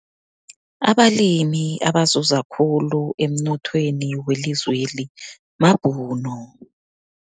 Abalimi abazuza khulu emnothweni welizweli mabhunu.